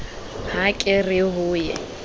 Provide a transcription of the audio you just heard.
ha ke re ho ye